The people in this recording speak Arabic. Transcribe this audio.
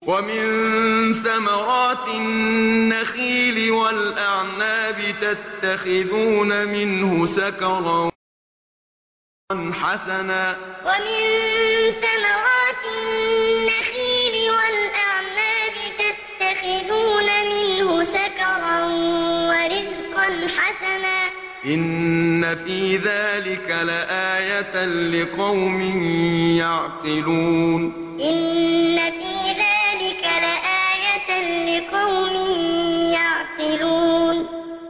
وَمِن ثَمَرَاتِ النَّخِيلِ وَالْأَعْنَابِ تَتَّخِذُونَ مِنْهُ سَكَرًا وَرِزْقًا حَسَنًا ۗ إِنَّ فِي ذَٰلِكَ لَآيَةً لِّقَوْمٍ يَعْقِلُونَ وَمِن ثَمَرَاتِ النَّخِيلِ وَالْأَعْنَابِ تَتَّخِذُونَ مِنْهُ سَكَرًا وَرِزْقًا حَسَنًا ۗ إِنَّ فِي ذَٰلِكَ لَآيَةً لِّقَوْمٍ يَعْقِلُونَ